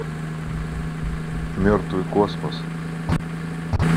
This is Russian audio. мертвый космос